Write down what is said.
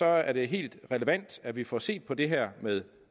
er det helt relevant at vi får set på det her med